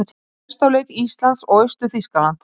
Skoða ástæður viðvörunarinnar